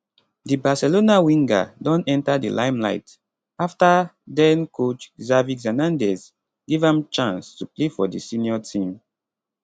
di barcelona winger don enta di limelight afta den coach xavi xernandez give am chance to play for di senior team